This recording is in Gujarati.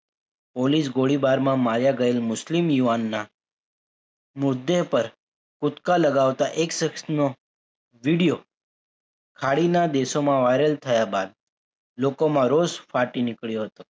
પોલીસ ગોળીબારમાં માર્યા ગયેલ મુસ્લિમ યુવાનના મુદ્દે પર કૂદકા લગાવતા એક સક્ષનો video ખાડી ના દેશોમાં viral થયા બાદ લોકોમાં રોષ ફાટી નીકળ્યો હતો.